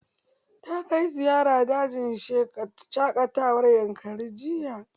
Ta kai ziyara dajin shaƙatawar yankari jiya